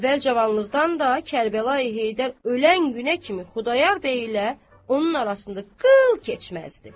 Əvvəl cavanlıqdan da Kərbəlayı Heydər ölən günə kimi Xudayar bəy ilə onun arasında qıl keçməzdi.